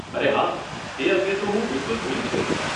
અરે હા, એ અંગે તો હું બિલકુલ ભૂલી જ ગઇ.